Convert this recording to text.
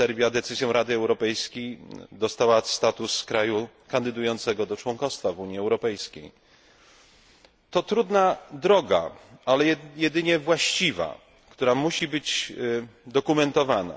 decyzją Rady Europejskiej Serbia uzyskała status kraju kandydującego do członkostwa w Unii Europejskiej. To trudna droga, ale jedyna właściwa, która musi być dokumentowana.